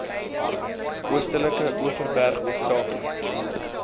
oostelike overberg hoofsaaklik